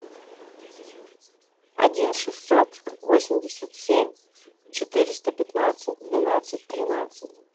один шестьсот восемьдесят семь четыреста пятнадцать двенадцать тринадцать